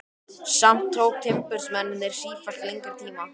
Samt tóku timburmennirnir sífellt lengri tíma.